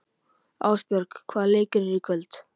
Ástbjörg, hvaða leikir eru í kvöld?